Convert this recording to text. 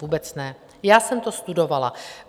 Vůbec ne, já jsem to studovala.